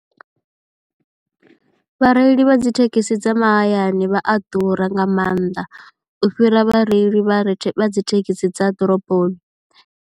Vhareili vha dzi thekhisi dza mahayani vha a ḓura nga mannḓa u fhira vhareili vha dzi thekhisi dza ḓoroboni.